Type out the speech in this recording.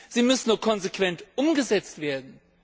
Sie müssen nur konsequent umgesetzt werden!